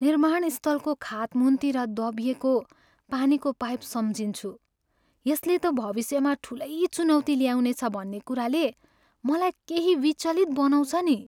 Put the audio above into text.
निर्माण स्थलको खातमुन्तिर दबिएको पानीको पाइप सम्झिन्छु यसले त भविष्यमा ठुलै चुनौति ल्याउनेछ भन्ने कुराले मलाई केही विचलित बनाउँछ नि।